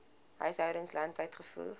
huishoudings landwyd gevoer